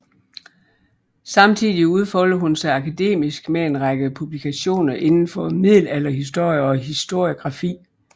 Samtidig udfoldede hun sig akademisk med en række publikationer inden for middelalderhistorie og historiografi